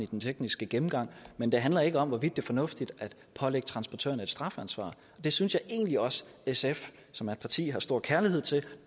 den tekniske gennemgang men det handler ikke om hvorvidt det er fornuftigt at pålægge transportørerne et strafansvar det synes jeg egentlig også at sf som er et parti jeg har stor kærlighed til